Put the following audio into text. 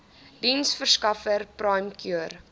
diensverskaffer prime cure